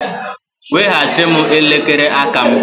Weghachi m elekere aka m!